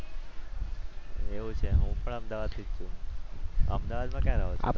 એવું છે? હું પણ અમદાવાદથી જ બોલું છું. અમદાવાદમાં ક્યાં રહો છો?